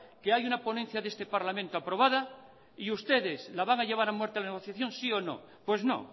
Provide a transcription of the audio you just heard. que hay una ponencia de este parlamento aprobada y ustedes la van a llevar a muerte la negociación sí o no pues no